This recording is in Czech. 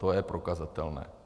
To je prokazatelné.